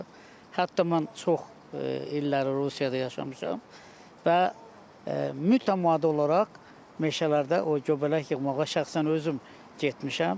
Hətta mən çox illəri Rusiyada yaşamışam və mütəmadi olaraq meşələrdə o göbələk yığmağa şəxsən özüm getmişəm.